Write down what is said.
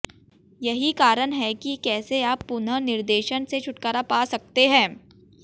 यही कारण है कि कैसे आप पुनर्निर्देशन से छुटकारा पा सकते हैं